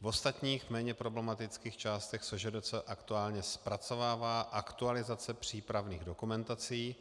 V ostatních, méně problematických částech SŽDC aktuálně zpracovává aktualizace přípravných dokumentací,